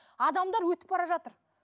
адамдар өтіп бара жатыр